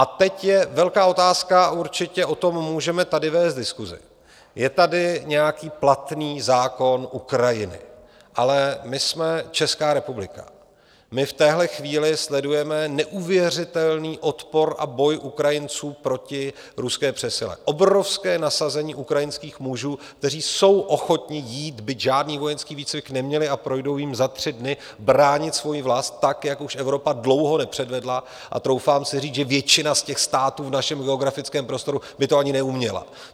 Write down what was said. A teď je velká otázka, určitě o tom můžeme tady vést diskusi, je tady nějaký platný zákon Ukrajiny, ale my jsme Česká republika, my v téhle chvíli sledujeme neuvěřitelný odpor a boj Ukrajinců proti ruské přesile, obrovské nasazení ukrajinských mužů, kteří jsou ochotni jít, byť žádný vojenský výcvik neměli, a projdou jím za tři dny, bránit svoji vlast tak, jak už Evropa dlouho nepředvedla, a troufám si říct, že většina z těch států v našem geografickém prostoru by to ani neuměla.